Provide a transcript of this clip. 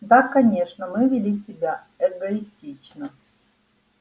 да конечно мы вели себя эгоистично